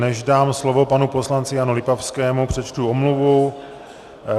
Než dám slovo panu poslanci Janu Lipavskému, přečtu omluvu.